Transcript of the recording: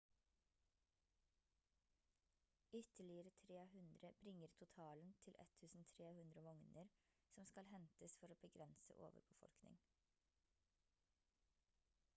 ytterligere 300 bringer totalen til 1300 vogner som skal hentes for å begrense overbefolkning